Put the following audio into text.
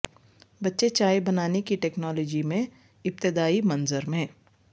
بچے چائے بنانے کی ٹیکنالوجی میں ابتدائی منظر میں